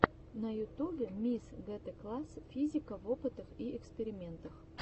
на ютубе микс гетэкласс физика в опытах и экспериментах